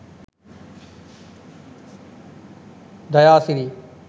dayasiri